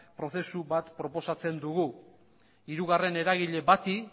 prozesu bat proposatzen dugu hirugarren eragile bati